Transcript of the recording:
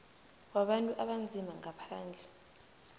wabantu abanzima ngaphandle